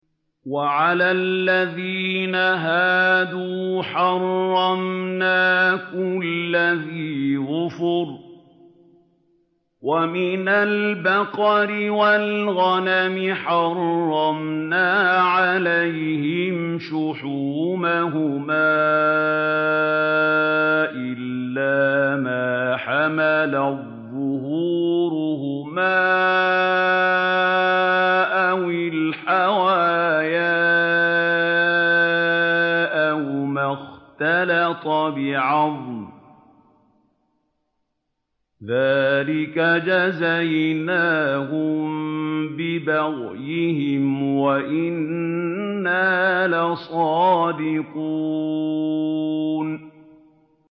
وَعَلَى الَّذِينَ هَادُوا حَرَّمْنَا كُلَّ ذِي ظُفُرٍ ۖ وَمِنَ الْبَقَرِ وَالْغَنَمِ حَرَّمْنَا عَلَيْهِمْ شُحُومَهُمَا إِلَّا مَا حَمَلَتْ ظُهُورُهُمَا أَوِ الْحَوَايَا أَوْ مَا اخْتَلَطَ بِعَظْمٍ ۚ ذَٰلِكَ جَزَيْنَاهُم بِبَغْيِهِمْ ۖ وَإِنَّا لَصَادِقُونَ